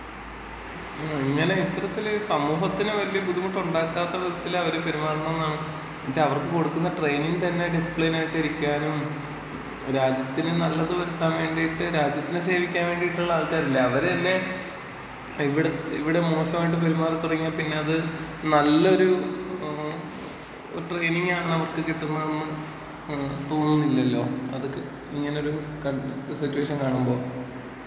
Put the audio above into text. അങ്ങനെ ഇത്തരത്തില് സമൂഹത്തിന് വല്യ ബുദ്ധിമുട്ട് ഉണ്ടാക്കാത്ത വിധത്തില് അവര് പെരുമാറണംന്നതാണ് എന്ന്ച്ച അവർക്ക് കൊടുക്കുന്ന ട്രയിനിങ് തന്നെ ഡിസിപ്ലിൻ ആയിട്ട് ഇരിക്കാനും രാജ്യത്തിന് നല്ലത് വരുത്താൻ വേണ്ടീട്ട് രാജ്യത്തിനെ സേവിക്കാൻ വേണ്ടിട്ടുള്ള ആൾക്കാരില്ലേ. അവരെന്നെ ഇവിടെ ഇവിടെ മോശമായിട്ട് പെരുമാറി തുടങ്ങിയാ പിന്ന അത് നല്ലൊരു ഒരു ട്രെയിനിങ്ങാണ് അവർക്ക് കിട്ടുന്നത് എന്ന് തോന്നുന്നില്ലല്ലോ. അതൊക്കെ ഇങ്ങനൊരു സിറ്റുവേഷൻ കാണുമ്പോ?